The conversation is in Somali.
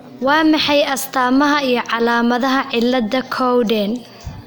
Waa maxay astamaha iyo calaamadaha cilada Cowden